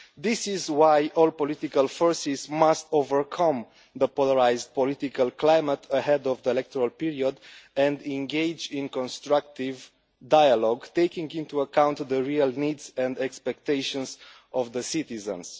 This is why all political forces must overcome the polarised political climate ahead of the electoral period and engage in constructive dialogue, taking into account the real needs and expectations of the citizens.